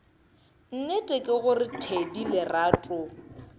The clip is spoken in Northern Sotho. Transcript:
nnete ke gore thedi lerato